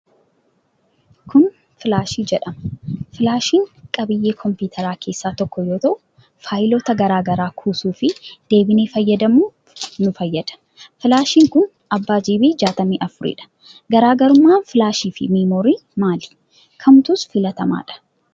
Kun filaashii jedhama. Filaashiin qabiyyee kompiitaraa keessaa tokko yoo ta'u, faayiloota garaagaraa kuusuu fi deebinee fayyadamuuf nu fayyada. Filaashiin kun abbaa Giibii 64 dha. Garaagarummaan filaashii fi meemoorii maali? Kamtus filatamaa dha?